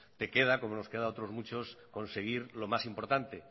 te queda como nos queda a otros muchos conseguir lo más importante